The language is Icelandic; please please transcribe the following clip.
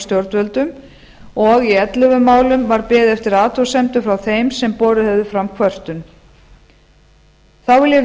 stjórnvöldum og í ellefu málum var beðið eftir athugasemdum frá þeim sem borið höfðu fram kvörtun þá vil ég